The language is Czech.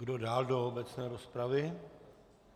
Kdo dál do obecné rozpravy?